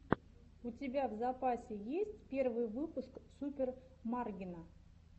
у тебя в запасе есть первый выпуск супер маргина